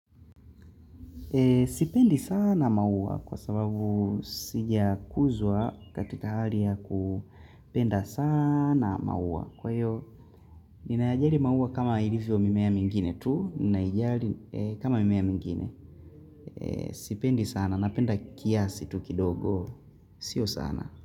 Sipendi sana maua kwa sababu sijakuzwa katika hali ya kupenda sana maua. Kwa hiyo, ninayajali maua kama ilivyo mimea mingine tu, ninaijali kama mimea mingine. Sipendi sana, napenda kiasi tu kidogo. Sio sana.